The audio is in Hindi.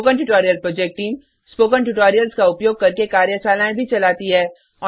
spoken tutorial project team spoken tutorials का उपयोग करके कार्यशालाएँ भी चलाती है